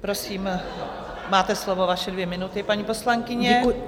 Prosím, máte slovo, vaše dvě minuty, paní poslankyně.